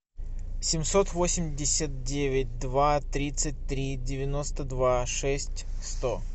семьсот восемьдесят девять два тридцать три девяносто два шесть сто